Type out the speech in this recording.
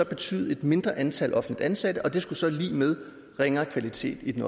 betyde et mindre antal offentligt ansatte og det skulle så være lig med ringere kvalitet i den